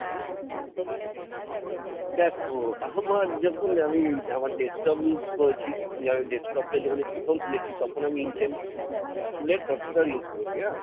দেখো আমার যখন আমি আমার desktop use করেছি desktop টা যখন আমি প্রথম কিনেছি, তখন আমি intel এর processor use করেছি হ্যাঁ,